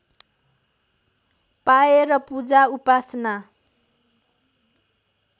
पाएर पूजा उपासना